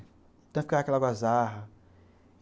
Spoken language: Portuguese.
Então ficava aquela algazarra.